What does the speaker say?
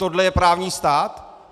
Tohle je právní stát?